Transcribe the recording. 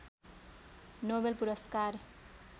Nobel पुरस्कार